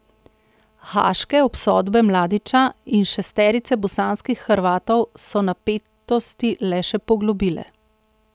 Haaške obsodbe Mladića in šesterice bosanskih Hrvatov so napetosti le še poglobile.